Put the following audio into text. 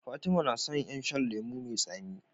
Fatima na son yan shan lemo me tsami